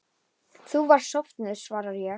Þú varst sofnuð, svara ég.